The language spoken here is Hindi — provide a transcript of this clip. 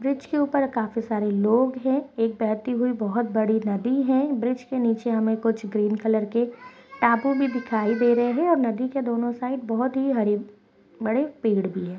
ब्रिज के ऊपर काफी सारे लोग है एक बहती हुई बहुत बड़ी नदी है ब्रिज के नीचे हमें कुछ ग्रीन कलर के टापू भी दिखाई दे रहे हैं नदी के दोनों साइड बहुत ही हरे भरे पेड़ भी है।